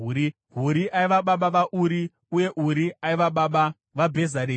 Huri aiva baba vaUri uye Uri aiva baba vaBhezareri.